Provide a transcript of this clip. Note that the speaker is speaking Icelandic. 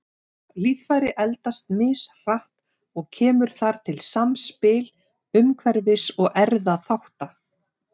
Líffæri eldast mishratt og kemur þar til samspil umhverfis- og erfðaþátta.